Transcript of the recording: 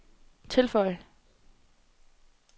tilføj